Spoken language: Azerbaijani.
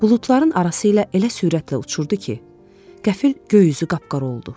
Buludların arası ilə elə sürətlə uçurdu ki, qəfil göy üzü qapqara oldu.